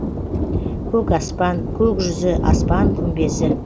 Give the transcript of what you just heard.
көк аспан көк жүзі аспан күмбезі